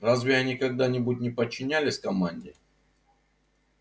разве они когда-нибудь не подчинялись команде